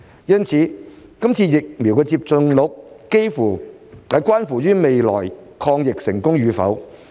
疫苗接種率關乎未來抗疫成功與否。